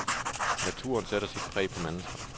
Naturen sætter sit præg på mennesker.